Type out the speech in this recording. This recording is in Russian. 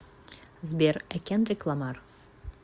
сбер ай кендрик ламар